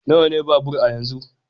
Nawa ne babur a yanzu?